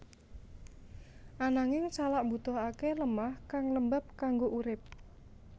Ananging salak mbutuhaké lemah kang lembab kanggo urip